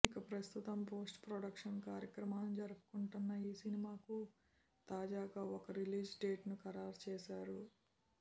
ఇక ప్రస్తుతం post production కార్యక్రమాలను జరుపుకుంటున్న ఈ సినిమాకు తాజాగా ఓ రిలీజ్ డేట్ను ఖరారు చేశారు